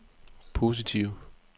positive